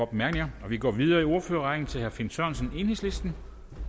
bemærkninger vi går videre i ordførerrækken til herre finn sørensen enhedslisten